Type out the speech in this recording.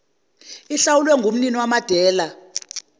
ihlawulwe ngumnini wamadela